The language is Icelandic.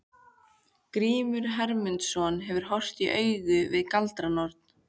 Grímur Hermundsson hefur horfst í augu við galdranorn.